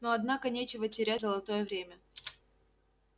ну однако нечего терять золотое время